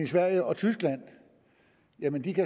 sverige og tyskland